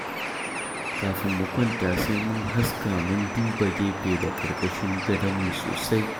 Kafin mu kwanta sai mun haska mun duba gefe da ƙarƙashin gadonmu sosai.